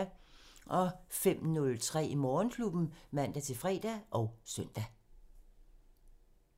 05:03: Morgenklubben (man-fre og søn)